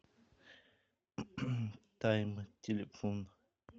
тайм телефон